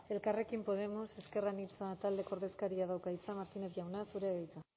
elkarrekin podemos ezker anitza taldeko ordezkariak dauka hitza martínez jauna zurea da hitza